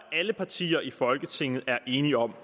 alle partier i folketinget er enige om